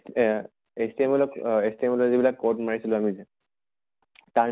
এহ HTML অহ HTML ৰ যিবিলাক code মাৰিছিলো আমি যে তাৰ